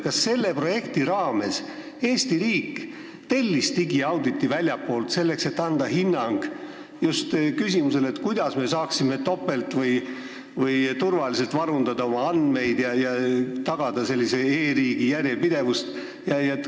Kas selle projekti raames Eesti riik tellis väljastpoolt digiauditi, selleks et anda hinnang, kuidas me saaksime topelt või turvaliselt varundada oma andmeid ja tagada e-riigi järjepidevust?